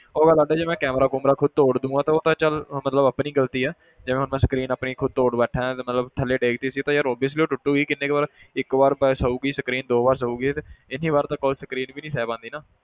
ਉਹ ਗੱਲ ਅੱਡ ਹੈ ਜੇ ਮੈਂ camera ਕੂਮਰਾ ਖੁੱਦ ਤੋੜ ਦਊਂਗਾ ਤਾਂ ਉਹ ਤਾਂ ਚੱਲ ਮਤਲਬ ਆਪਣੀ ਗ਼ਲਤੀ ਹੈ ਜਿਵੇਂ ਹੁਣ ਮੈਂ screen ਆਪਣੀ ਖੁੱਦ ਤੋੜ ਬੈਠਾ ਹਾਂ ਤੇ ਮਤਲਬ ਥੱਲੇ ਡੇਗ ਦਿੱਤੀ ਸੀ ਤਾਂ ਯਾਰ obviously ਉਹ ਟੁੱਟਗੀ ਕਿੰਨੀ ਕੁ ਵਾਰ ਇੱਕ ਵਾਰ ਬਸ ਸਹੇਗੀ screen ਦੋ ਵਾਰ ਸਹੇਗੀ ਤੇ ਇੰਨੀ ਵਾਰ ਤਾਂ ਕੋਈ screen ਵੀ ਨੀ ਸਹਿ ਪਾਉਂਦੀ ਨਾ